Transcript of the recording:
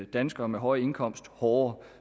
danskere med høje indkomster hårdere